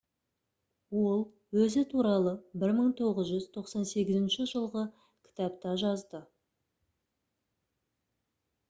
ол өзі туралы 1998 жылғы кітапта жазды